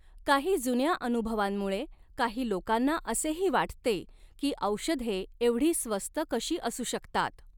काही जुन्या अनुभवांमुळे काही लोकांना असेही वाटते की औषधे एवढी स्वस्त कशी असू शकतात?